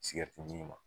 Sigɛriti min ma